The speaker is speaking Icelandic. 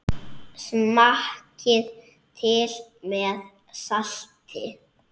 Smakkið til með salti.